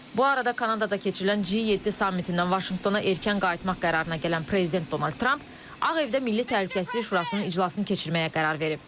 Bu arada Kanadada keçirilən G7 sammitindən Vaşinqtona ertəckən qayıtmaq qərarına gələn prezident Donald Tramp Ağ evdə Milli Təhlükəsizlik Şurasının iclasını keçirməyə qərar verib.